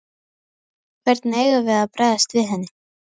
Hvernig eigum við að bregðast við henni?